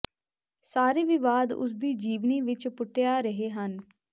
ਸਾਰੇ ਵਿਵਾਦ ਉਸ ਦੀ ਜੀਵਨੀ ਵਿੱਚ ਪੁਟਿਆ ਰਹੇ ਹਨ